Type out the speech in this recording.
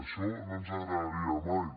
això no ens agradaria mai